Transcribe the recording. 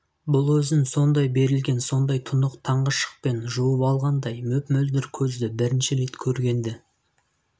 бұл өзін сондай берілген сондай тұнық таңғы шықпен жуып алғандай мөп-мөлдір көзді бірінші рет көргенді